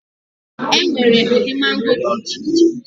E nwere ụdị mango dị iche iche.